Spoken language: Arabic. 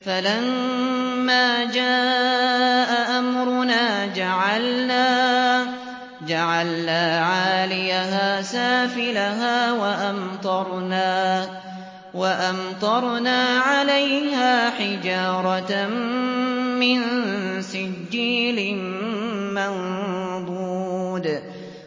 فَلَمَّا جَاءَ أَمْرُنَا جَعَلْنَا عَالِيَهَا سَافِلَهَا وَأَمْطَرْنَا عَلَيْهَا حِجَارَةً مِّن سِجِّيلٍ مَّنضُودٍ